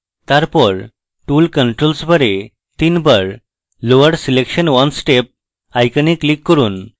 তারপর tool controls bar এ তিনবার lower selection one step icon click করুন